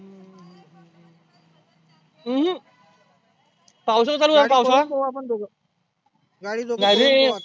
अं हम्म पावसाळा चालू झाला पावसाळा नाही रे